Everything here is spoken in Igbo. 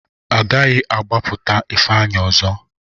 A gaghị agbapụta Ifeanyị ọzọ.